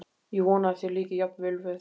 Ég vona að þér líki jafn vel við